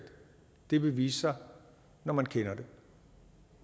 vil vise sig når man kender det